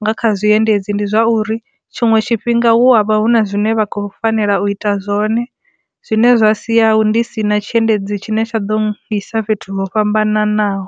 nga kha zwiendedzi ndi zwa uri tshiṅwe tshifhinga hu avha hu na zwine vha kho fanela u ita zwone zwine zwa sia hu ndi si na tshiendedzi tshine tsha ḓo ḓisa fhethu ho fhambananaho.